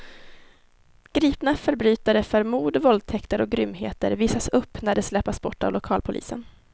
Gripna förbrytare för mord, våldtäkter och grymheter visas upp när de släpas bort av lokalpolisen.